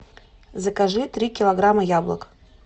закажи три килограмма яблок